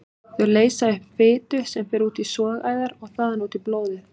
Þau leysa upp fitu sem fer út í sogæðar og þaðan út í blóðið.